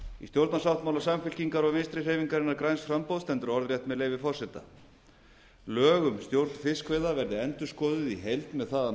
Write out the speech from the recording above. í stjórnarsáttmála samfylkingar og vinstri hreyfingarinnar græns framboðs stendur orðrétt með leyfi forseta lög um stjórn fiskveiða verði endurskoðuð í heild með það að